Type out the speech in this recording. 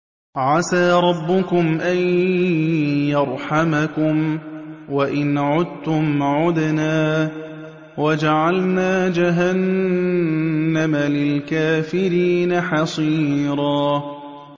عَسَىٰ رَبُّكُمْ أَن يَرْحَمَكُمْ ۚ وَإِنْ عُدتُّمْ عُدْنَا ۘ وَجَعَلْنَا جَهَنَّمَ لِلْكَافِرِينَ حَصِيرًا